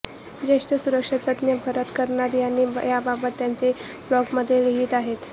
ज्येष्ठ सुरक्षा तज्ज्ञ भरत कर्णाद यांनी याबाबत त्यांच्या ब्लॉगमध्ये लिहिलं आहे